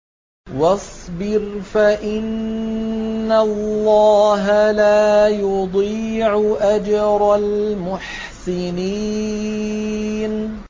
وَاصْبِرْ فَإِنَّ اللَّهَ لَا يُضِيعُ أَجْرَ الْمُحْسِنِينَ